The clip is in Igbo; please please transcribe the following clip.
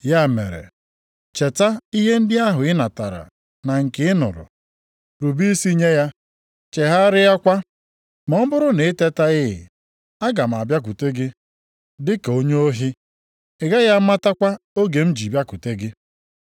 Ya mere, cheta ihe ndị ahụ ị natara na nke ị nụrụ; rube isi nye ya, chegharịakwa. Ma ọ bụrụ na i tetaghị, aga m abịakwute gị dị ka onye ohi, ị gaghị amatakwa oge m ji bịakwute gị.